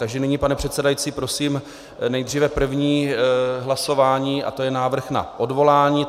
Takže nyní, pane předsedající, prosím nejdříve první hlasování a to je návrh na odvolání.